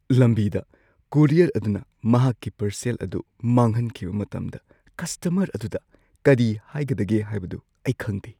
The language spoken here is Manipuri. ꯂꯝꯕꯤꯗ ꯀꯣꯔꯤꯌꯔ ꯑꯗꯨꯅ ꯃꯍꯥꯛꯀꯤ ꯄꯥꯔꯁꯦꯜ ꯑꯗꯨ ꯃꯥꯡꯍꯟꯈꯤꯕ ꯃꯇꯝꯗ ꯀꯁꯇꯃꯔ ꯑꯗꯨꯗ ꯀꯔꯤ ꯍꯥꯏꯒꯗꯒꯦ ꯍꯥꯏꯕꯗꯨ ꯑꯩ ꯈꯪꯗꯦ꯫